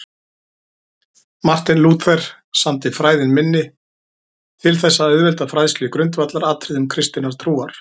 Marteinn Lúther samdi Fræðin minni til þess að auðvelda fræðslu í grundvallaratriðum kristinnar trúar.